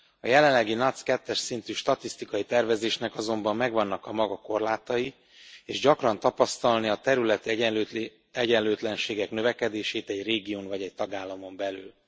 A jelenlegi NUTS 2 es szintű statisztikai tervezésnek azonban megvannak a maga korlátai, és gyakran tapasztalni a területi egyenlőtlenségek növekedését egy régión vagy egy tagállamon belül.